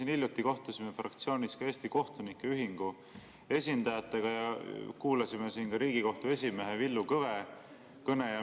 Me hiljuti kohtusime fraktsioonis Eesti Kohtunike Ühingu esindajatega ja kuulasime siin saalis ära Riigikohtu esimehe Villu Kõve kõne.